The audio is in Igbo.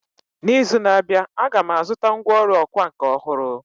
N’izu na-abịa, Aga m azụta ngwá ọrụ ọkwá nkà ọhụrụ